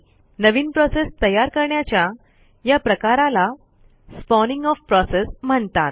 नवीन process तयार करण्याच्या या प्रकाराला स्पॉनिंग ओएफ प्रोसेस म्हणतात